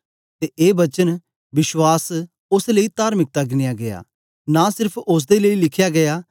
ते ए वचन विश्वास ओस लेई तार्मिकता गिनया गीया नां सेर्फ ओसदे लेई लिखया गीया